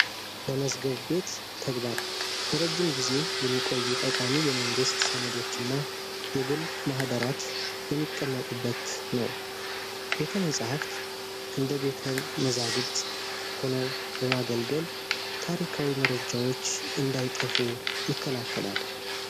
ለመዝገብ ቤት ተግባር ለረጅም ጊዜ የሚቆዩ ጠቃሚ የመንግሥት ሰነዶች እና የግል ማኅደራት የሚቀመጡበት ነው። ቤተ መጽሕፍት እንደ ቤተ መዛግብት ሆነው በማገልገል ታሪካዊ መረጃዎች እንዳይጠፉ ይከላከላል።